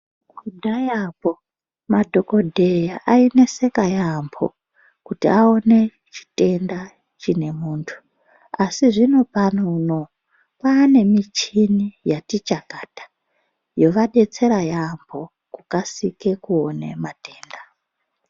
Kudhayakwo madhokodheya aineseka yaampo kuti aone chitenda chine muntu asi zvinopano unowu kwaane michini yati chakata yovadetsera yaampo kukasike kuone matenda.